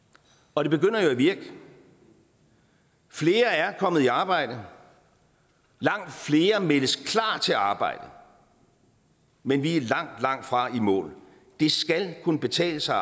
og det begynder jo at virke flere er kommet i arbejde og langt flere meldes klar til arbejde men vi er langt langt fra i mål det skal kunne betale sig